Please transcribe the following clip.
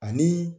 Ani